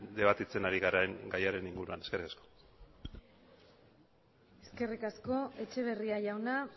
debatitzen ari garen gaiaren inguruan eskerrik asko eskerrik asko etxeberria jauna